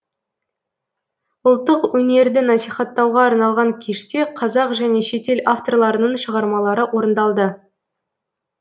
ұлттық өнерді насихаттауға арналған кеште қазақ және шетел авторларының шығармалары орындалды